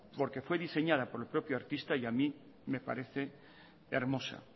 porque fue diseñada por el propio artista y a mí me parece hermosa